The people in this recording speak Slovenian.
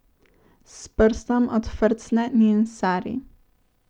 S prstom odfrcne njen sari.